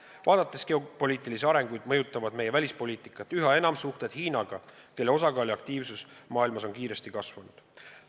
Arvestades geopoliitilisi arenguid, mõjutavad meie välispoliitikat üha enam suhted Hiinaga, kelle osakaal ja aktiivsus maailmas on kiiresti kasvanud.